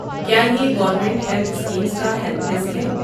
کیا یہ government health schemes کا ہیلپ ڈیسک ہے؟